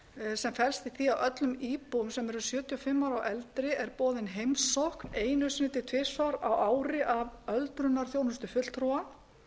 sem felst í því að öllum íbúum sem eru sjötíu og fimm ára og eldri er boðin heimsókn einu sinni til tvisvar á ári af öldrunarþjónustu fulltrúa